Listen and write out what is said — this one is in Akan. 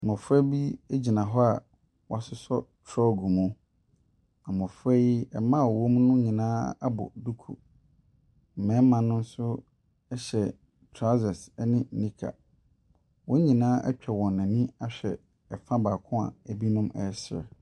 Mmɔfra bi gyina hɔ a wɔasosɔ frog mu. Mmɔfra yi, mmaa a wɔwɔ mu no nyinaa abɔ duku. Mmarima no nso hyɛ trousere ne nika. Wɔn nyinaa atwa wɔn ani ahwɛ ɛfa baako a ɛbinom resere.